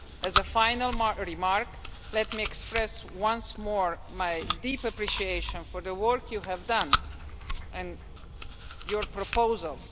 As a final remark, let me express once more my deep appreciation for the work you have done and your proposals.